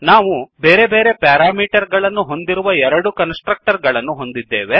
ನಾವು ಬೇರೆ ಬೇರೆ ಪ್ಯಾರಾಮೀಟರ್ ಗಳನ್ನು ಹೊಂದಿರುವ ಎರಡು ಕನ್ಸ್ ಟ್ರಕ್ಟರ್ ಗಳನ್ನು ಹೊಂದಿದ್ದೇವೆ